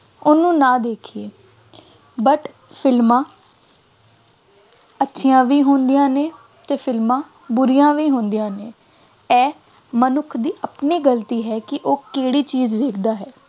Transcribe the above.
ਉਹਨੂੰ ਨਾ ਦੇਖੀਏ but ਫਿਲਮਾਂ ਅੱਛੀਆਂ ਵੀ ਹੁੰਦੀਆਂ ਨੇ ਅਤੇ ਫਿਲਮਾਂ ਬੁਰੀਆਂ ਵੀ ਹੁੰਦੀਆਂ ਨੇ, ਇਹ ਮਨੁੱਖ ਦੀ ਆਪਣੀ ਗਲਤੀ ਹੈ ਕਿ ਉਹ ਕਿਹੜੀ ਚੀਜ਼ ਵੇਖਦਾ ਹੈ,